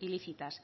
ilícitas